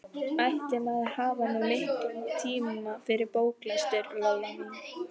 Ætli maður hafi nú mikinn tíma fyrir bóklestur, Lolla mín.